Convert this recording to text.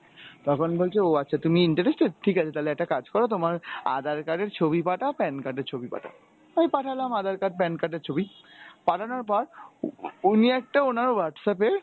তখন বলছে ও আচ্ছা তুমি interested? ঠিকাছে তালে একটা কাজ কর তোমার আধার card এর ছবি পাঠাও PAN card এর ছবি পাঠাও। আমি পাঠালাম আধার card PAN card এর ছবি। পাঠানোর পর উনি একটা উনার Whatsapp এ